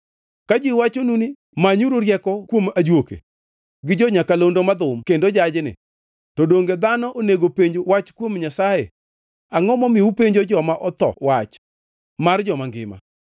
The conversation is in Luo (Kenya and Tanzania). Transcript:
Ka ji wachonu ni manyuru rieko kuom ajuoke gi jo-nyakalondo madhum kendo jajni, to donge dhano onego penj wach kuom Nyasaye? Angʼo momiyo upenjo joma otho wach mar joma ngima?